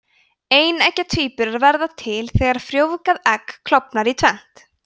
eineggja tvíburar verða til þegar frjóvgað egg klofnar í tvennt